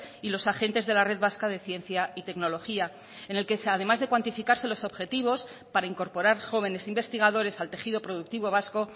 y los agentes de la red vasca de ciencia y tecnología en el que además de cuantificarse los objetivos para incorporar jóvenes investigadores al tejido productivo vasco